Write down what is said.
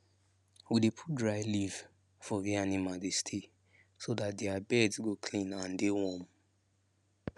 we dey put dry leave for where animal dey stay so dat their beds go clean and dey warm